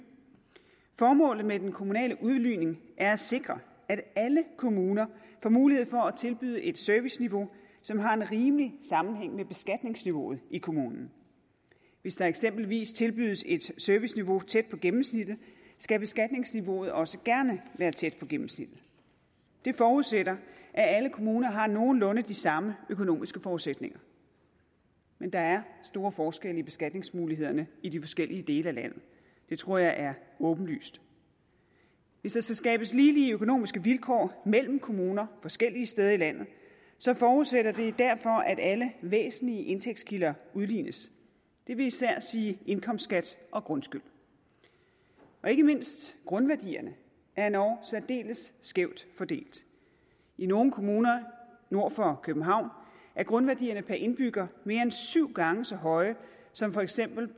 formålet med den kommunale udligning er at sikre at alle kommuner får mulighed for at tilbyde et serviceniveau som har en rimelig sammenhæng med beskatningsniveauet i kommunen hvis der eksempelvis tilbydes et serviceniveau tæt på gennemsnittet skal beskatningsniveauet også gerne være tæt på gennemsnittet det forudsætter at alle kommuner har nogenlunde de samme økonomiske forudsætninger men der er store forskelle i beskatningsmulighederne i de forskellige dele af landet det tror jeg er åbenlyst hvis der skal skabes ligelige økonomiske vilkår mellem kommuner forskellige steder i landet forudsætter det derfor at alle væsentlige indtægtskilder udlignes det vil især sige indkomstskat og grundskyld ikke mindst grundværdierne er endog særdeles skævt fordelt i nogle kommuner nord for københavn er grundværdierne per indbygger mere end syv gange så høje som for eksempel